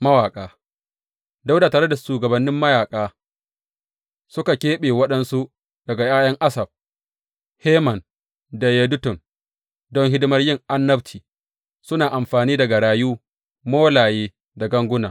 Mawaƙa Dawuda tare da shugabannin mayaƙa, suka keɓe waɗansu daga ’ya’yan Asaf, Heman da Yedutun don hidimar yin annabci, suna amfani da garayu, molaye da ganguna.